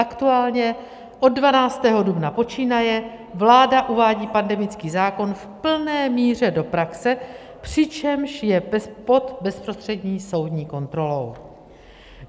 Aktuálně od 12. dubna počínaje vláda uvádí pandemický zákon v plné míře do praxe, přičemž je pod bezprostřední soudní kontrolou.